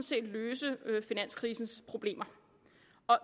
set løse finanskrisens problemer